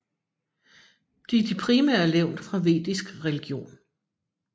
De er de primære levn fra Vedisk religion